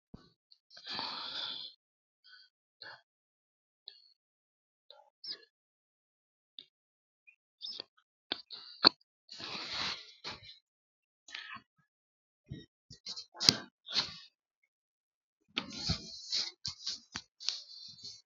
Looseemmo woroonni borreessinoonni coy hanni aanchine qoonqote fooliishsho qoonqote duu ramme duu ramare neemmona sa u lamalara leeltanno qaale qaalla hunda xuruurtine ronsummonte gede duu ramme leeltannohu leellishshe.